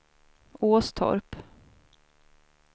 Åstorp